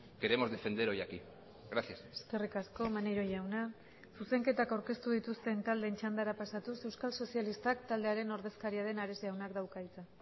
queremos defender hoy aquí gracias eskerrik asko maneiro jauna zuzenketak aurkeztu dituzten taldeen txandara pasatuz euskal sozialistak taldearen ordezkaria den ares jaunak dauka hitza